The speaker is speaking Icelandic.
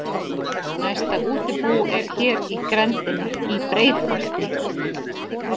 Næsta útibú er hér í grenndinni, Í BREIÐHOLTI.